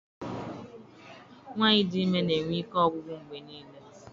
Nwaanyị dị ime na-enwe ike ọgwụgwụ mgbe niile.